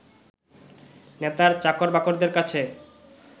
নেতার চাকর-বাকরদের কাছে